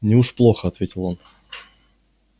неуж плохо ответил он